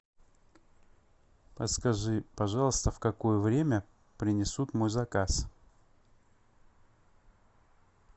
подскажи пожалуйста в какое время принесут мой заказ